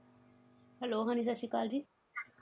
Hello ਹਾਂਜੀ ਸਤਿ ਸ਼੍ਰੀ ਅਕਾਲ ਜੀ